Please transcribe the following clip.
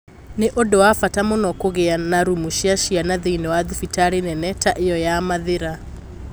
"Nĩ ũndũ wa bata mũno kũgĩa na rumu cia ciana thĩinĩ wa thibitarĩ nene ta ĩyo ya Mathĩra.